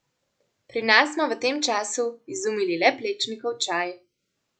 Pri nas smo v tem času izumili le Plečnikov čaj.